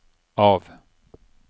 av